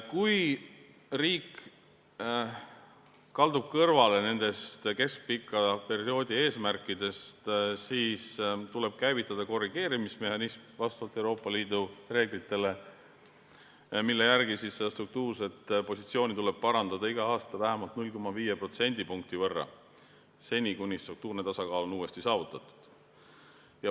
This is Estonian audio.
Kui riik kaldub kõrvale keskpika perioodi eesmärkidest, siis tuleb vastavalt Euroopa Liidu reeglitele käivitada korrigeerimismehhanism, mille järgi seda struktuurset positsiooni tuleb parandada iga aasta vähemalt 0,5 protsendipunkti võrra, seni, kuni struktuurne tasakaal on uuesti saavutatud.